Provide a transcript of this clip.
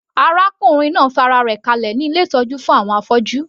Arákùnrin náà fa ara rẹ̀ kalẹ̀ ní ilé ìtọ́jú fún àwọn afọ́jú.